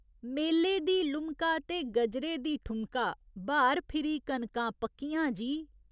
मेले दी लुमका ते गजरे दी ठुमका, ब्हार फिरी कनकां पक्कियां जी।